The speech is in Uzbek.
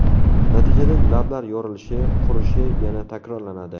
Natijada lablar yorilishi, qurishi yana takrorlanadi.